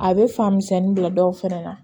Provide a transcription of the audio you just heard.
A bɛ fan misɛnnin bila dɔw fɛnɛ na